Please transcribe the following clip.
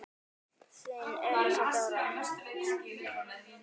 Þín Elsa Dóra.